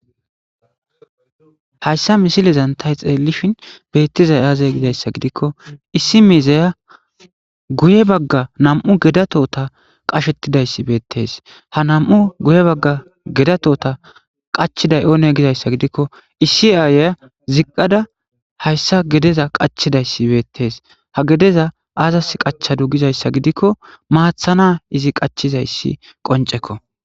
hayssa misilezantay xeellishin beettizay aazey gidayssa gidikko issi mizeya guye bagga nam'u gedatota qashettidayssi beettes ha nam'u guye bagga gedatota qachiday oone gizayssa gidikko issi aayeya ziqqada hayssa gedeza qachidayssi beettees ha gedeza aazas qachadu gizayssa gidikko maathana izi qachizayssi qonc'ekko.